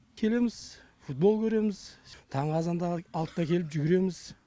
келеміз футбол көреміз таңғы азанда алтыда келіп жүгіреміз